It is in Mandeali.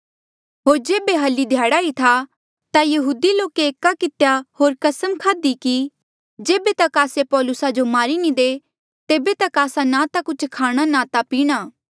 होर जेबे हल्ली ध्याड़ा ई था ता यहूदी लोके एका कितेया होर कसम खाध्ही कि जेबे तक आस्से पौलुसा जो मारी नी दे तेबे तक आस्सा ना ता कुछ खाणा ना ता पीणा